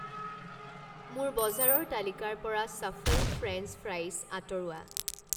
মোৰ বজাৰৰ তালিকাৰ পৰা ছফল ফ্ৰেঞ্চ ফ্ৰাইছ আঁতৰোৱা।